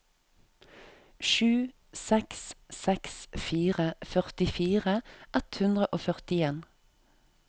sju seks seks fire førtifire ett hundre og førtien